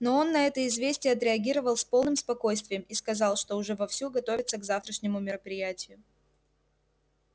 но он на это известие отреагировал с полным спокойствием и сказал что уже вовсю готовится к завтрашнему мероприятию